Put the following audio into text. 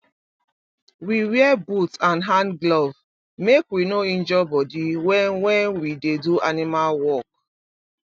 we wear boot and hand glove make we no injure body when when we dey do animal work